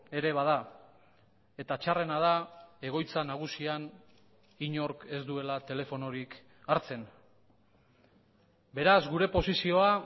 ere bada eta txarrena da egoitza nagusian inork ez duela telefonorik hartzen beraz gure posizioa